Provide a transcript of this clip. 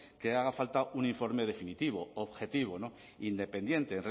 que haga falta un informe definitivo objetivo independiente